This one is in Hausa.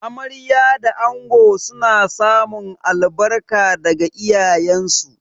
Amarya da ango suna samun albarka daga iyayensu.